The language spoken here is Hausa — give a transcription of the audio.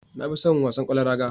Na fi son wasan ƙwallon raga